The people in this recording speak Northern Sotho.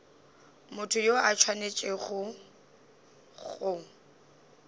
motho yo a swanetšego go